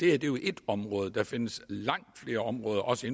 er jo ét område der findes langt flere områder også